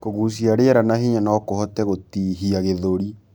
Kugucia rĩera na hinya nokuhote gutihia gĩthũri